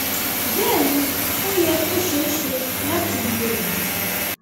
bẹẹ ni ó yẹ kó ṣeé ṣe láti lo èyí